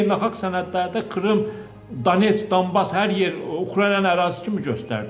Bütün beynəlxalq sənədlərdə Krım, Donbas, hər yer Ukraynanın ərazisi kimi göstərir.